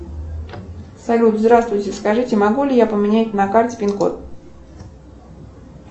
салют здравствуйте скажите могу ли я поменять на карте пин код